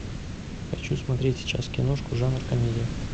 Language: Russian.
хочу смотреть сейчас киношку жанр комедия